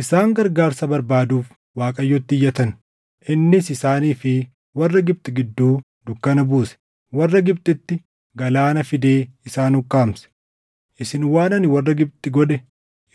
Isaan gargaarsa barbaaduuf Waaqayyotti iyyatan; innis isaanii fi warra Gibxi gidduu dukkana buuse; warra Gibxitti galaana fidee isaan ukkaamse. Isin waan ani warra Gibxi godhe